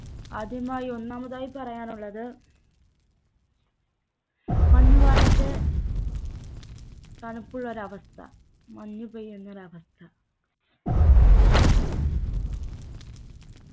ആദ്യമായി ഒന്നാമതായി പറയാനുള്ളത് മഞ്ഞുകാലത്തെ തണുപ്പ് ഒരവസ്ഥ മഞ്ഞുപെയ്യുന്നൊരവസ്ഥ